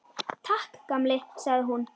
Takk, gamli, sagði hún.